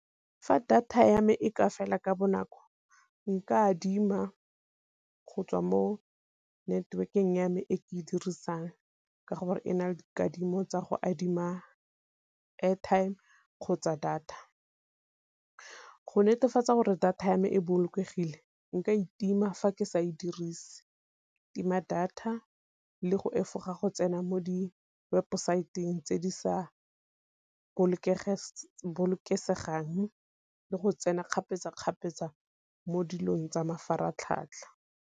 Fa data ya me e ka fela ka bonako nka adima go tswa mo network-eng ya me e ke e dirisang, ka gore e na le dikadimo tsa go adima airtime kgotsa data. Go netefatsa gore data ya me e bolokegile nka itima fa ke sa e dirise, tima data le go efoga go tsena mo di webosaeteng tse di sa bolokesegang le go tsena kgapetsa-kgapetsa mo dilong tsa mafaratlhatlha.